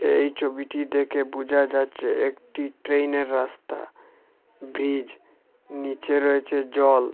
এই ছবিটি দেখে বুঝা যাচ্ছে একটি ট্রেইনের রাস্তা ব্রিজ নীচে রয়েছে জল।